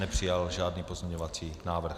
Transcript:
Nepřijal žádný pozměňovací návrh.